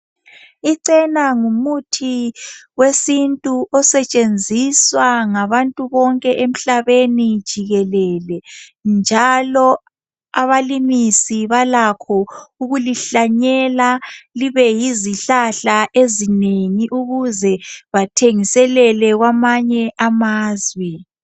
Ichena ngumuthi wesintu osetshenziswa ngabantu bonke emhlabeni jikelele njalo abalimisi balakho ukulihlanyela libe yizihlahla ezinengi ukuze bathengiselele kwamanye amazwe.